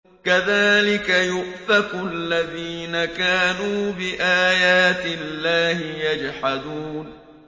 كَذَٰلِكَ يُؤْفَكُ الَّذِينَ كَانُوا بِآيَاتِ اللَّهِ يَجْحَدُونَ